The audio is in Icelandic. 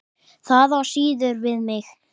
Það á síður við mig.